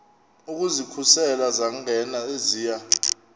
ukuzikhusela zangena eziya